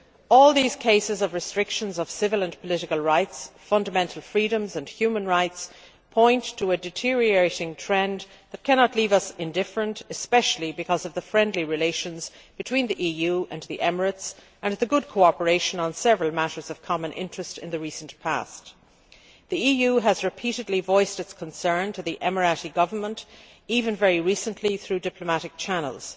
All these cases of restrictions of civil and political rights, fundamental freedoms and human rights point to a deteriorating trend that cannot leave us indifferent, especially because of the friendly relations between the EU and the UAE and the good cooperation on several matters of common interest in the recent past. The EU has repeatedly voiced its concern to the UAE Government, including very recently, through diplomatic channels.